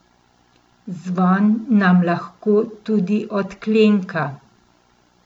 Zvon nam lahko tudi odklenka.